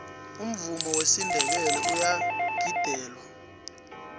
umvumo wesinndebele uyagidelwa